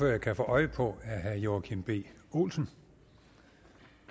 jeg kan få øje på er herre joachim b olsen